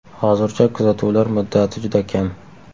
Hozircha kuzatuvlar muddati juda kam.